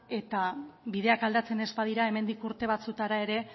eta bideak aldatzen ez badira hemendik urte batzuetara ere